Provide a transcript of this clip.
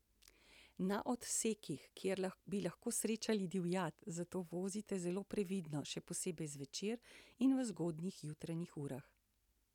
Na odsekih, kjer bi lahko srečali divjad, zato vozite zelo previdno, še posebej zvečer in v zgodnjih jutranjih urah.